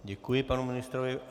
Děkuji panu ministrovi.